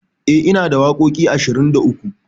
E, inada waƙoƙi ashirin da uku.